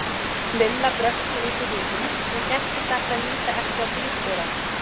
Lilla brölti út úr rútunni og gætti þess að líta ekki á bílstjórann.